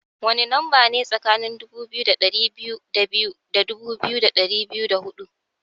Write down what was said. Wani lamba ne tsakanin dubu biyu da dari biyu da biyu da dubu biyu da dari biyu da hudu?